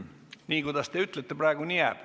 Nii, kuidas te praegu ütlete, nii ka jääb.